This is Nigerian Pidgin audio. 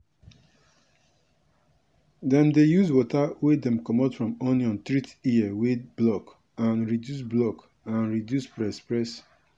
dem dey use water wey dey comot from onion treat ear wey block and reduce block and reduce press press.